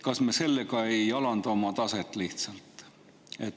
Kas me sellega ei alanda lihtsalt oma taset?